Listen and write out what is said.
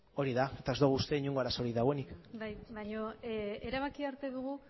hori da eta ez dugu uste inongo arazorik dagoenik bai baino erabakia hartu dugu